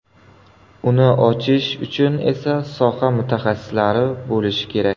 Uni ochish uchun esa soha mutaxassislari bo‘lishi kerak.